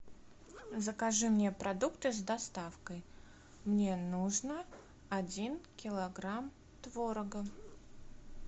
закажи мне продукты с доставкой мне нужно один килограмм творога